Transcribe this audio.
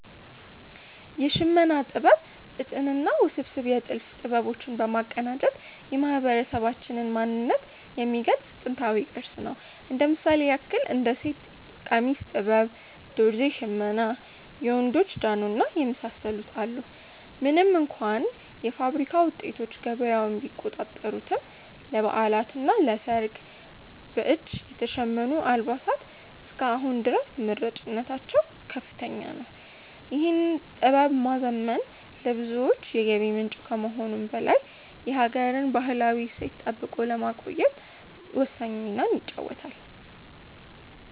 የሽመና ጥበብ ጥጥንና ውስብስብ የጥልፍ ጥበቦች በማቀናጀት የማህበረሰባችንን ማንነት የሚገልጽ ጥንታዊ ቅርስ ነው። እንደ ምሳሌ ያክል እንደ የሴት ቀሚስ ጥበብ፣ ዶርዜ ሽመና፣ የወንዶች ጃኖ እና የመሳሰሉትን አሉ። ምንም እንኳ የፋብሪካ ውጤቶች ገበያውን ቢቆጣጠሩትም፣ ለበዓላትና ለሰርግ በእጅ የተሸመኑ አልባሳት እስከ አሁን ድረስ ተመራጭነታቸው ከፍተኛ ነው። ይህን ጥበብ ማዘመን ለብዙዎች የገቢ ምንጭ ከመሆኑም በላይ የሀገርን ባህላዊ እሴት ጠብቆ ለማቆየት ወሳኝ ሚና ይጫወታል።